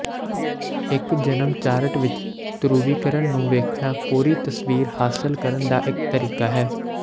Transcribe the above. ਇੱਕ ਜਨਮ ਚਾਰਟ ਵਿੱਚ ਧਰੁਵੀਕਰਨ ਨੂੰ ਵੇਖਣਾ ਪੂਰੀ ਤਸਵੀਰ ਹਾਸਲ ਕਰਨ ਦਾ ਇੱਕ ਤਰੀਕਾ ਹੈ